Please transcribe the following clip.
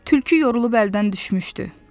Tülkü yorulub əldən düşmüşdü.